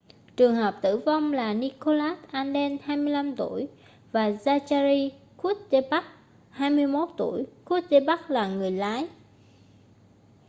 trường hợp tử vong là nicholas alden 25 tuổi và zachary cuddeback 21 tuổi cuddeback là người lái